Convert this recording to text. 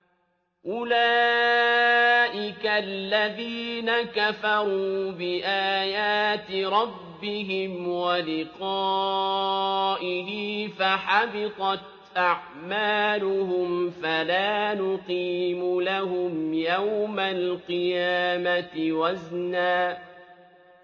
أُولَٰئِكَ الَّذِينَ كَفَرُوا بِآيَاتِ رَبِّهِمْ وَلِقَائِهِ فَحَبِطَتْ أَعْمَالُهُمْ فَلَا نُقِيمُ لَهُمْ يَوْمَ الْقِيَامَةِ وَزْنًا